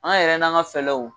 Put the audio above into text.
An yɛrɛ n'an ka fɛɛlɛw